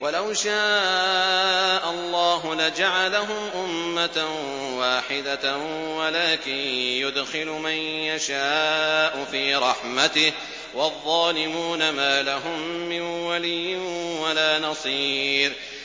وَلَوْ شَاءَ اللَّهُ لَجَعَلَهُمْ أُمَّةً وَاحِدَةً وَلَٰكِن يُدْخِلُ مَن يَشَاءُ فِي رَحْمَتِهِ ۚ وَالظَّالِمُونَ مَا لَهُم مِّن وَلِيٍّ وَلَا نَصِيرٍ